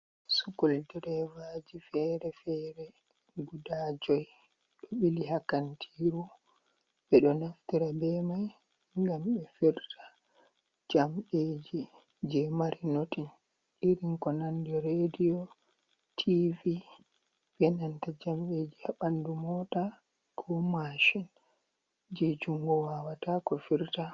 Sukol dreevaji fere-fere guda joi ɗo o ɓili haa kantiiru, ɓe ɗo naftira bee maaajum ngam ɓe firta jamɗeeji jey mari nootin irin ko nanndi reediyo, tiivi bee nanta jamɗeeji ɓanndu moota koo mashin jey junngo waawataa ko firta.